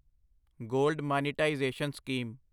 gold monetisation scheme